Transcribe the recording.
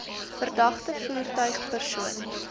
verdagte voertuig persoon